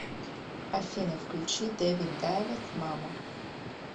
афина включи дэвид дайвид мама